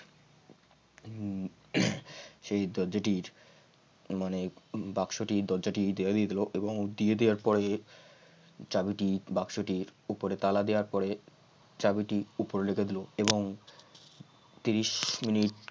সেই দরজাটির মানে বাক্সটি দরজাটির দেওয়া দিয়ে দিলো এবং দিয়ে দেওয়ার পরে চাবিটি বাক্সটির উপরে তালা দেওয়ার পরে চাবিটির উপরে রেখে দিল এবং ত্রিশ মিনিট